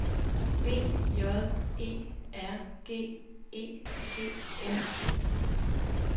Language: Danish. B J E R G E G N E